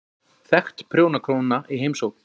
Þekkt prjónakona í heimsókn